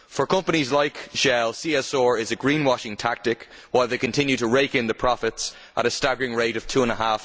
For companies like Shell, CSR is a greenwashing tactic while they continue to rake in the profits at a staggering rate of EUR